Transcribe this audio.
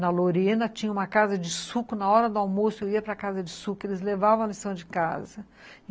Na Lorena tinha uma casa de suco, na hora do almoço eu ia para casa de suco, eles levavam a lição de casa.